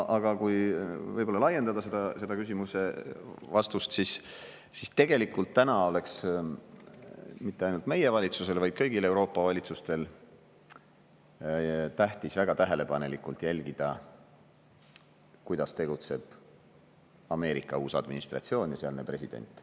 Aga kui võib-olla laiendada seda küsimuse vastust, siis tegelikult täna oleks mitte ainult meie valitsusel, vaid kõigil Euroopa valitsustel tähtis väga tähelepanelikult jälgida, kuidas tegutseb Ameerika uus administratsioon ja sealne president.